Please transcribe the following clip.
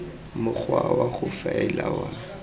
mokgwa wa go faela wa